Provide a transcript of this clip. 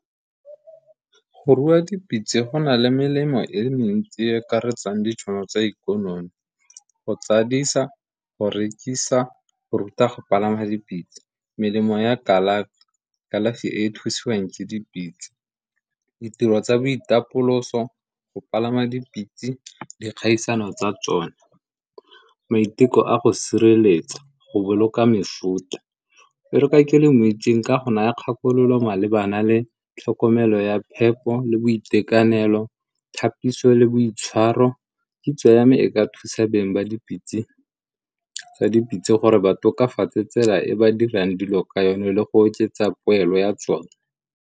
Go rua dipitse go na le melemo e le mentsi e e akaretsang ditšhono tsa ikonomi, go tsadisa, go rekisa, go ruta go palama dipitse. Melemo ya kalafi, kalafi e e thusiwang ke dipitse. Ditiro tsa boitapoloso, go palama dipitse, dikgaisano tsa tsone. Maiteko a go sireletsa go boloka mefuta e re ka ke le mo itseng ka go naya kgakololo malebana le tlhokomelo ya pheko le boitekanelo tlhapise le boitshwaro kitso ya me e ka thusa beng ba dipitse tsa dipitse gore ba tokafatse tsela e ba dirang dilo ka yone le go oketsa poelo ya tsone.